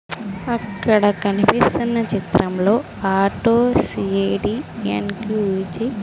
అక్కడ కనిపిస్తున్న చిత్రం లో ఆటో సి_ఏ_డి_ఎన్_క్యు_జి .